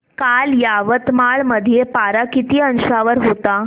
काल यवतमाळ मध्ये पारा किती अंशावर होता